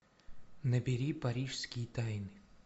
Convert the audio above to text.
набери парижские тайны